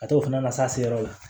Ka t'o fana na s'a se yɔrɔ la